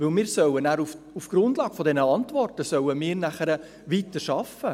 Denn wir sollten dann auf der Grundlage dieser Antworten nachher weiterarbeiten.